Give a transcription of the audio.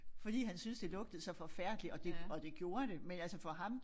Fordi han syntes det lugtede så forfærdeligt og det og det gjorde men altså for ham